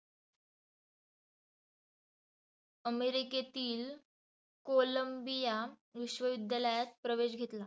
अमेरिकेतील कोलंबिया विश्व विद्यालयात प्रवेश घेतल.